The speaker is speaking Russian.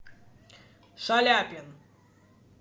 шаляпин